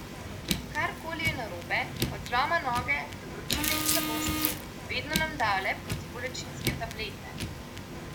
Karkoli je narobe, od zloma noge do vročine in slabosti, vedno nam dajo le protibolečinske tablete.